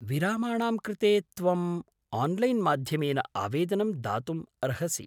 विरामाणां कृते त्वम् आन्लैन्माध्यमेन आवेदनं दातुम् अर्हसि।